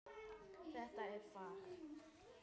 Þetta er fag.